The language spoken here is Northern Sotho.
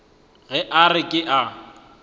ge a re ke a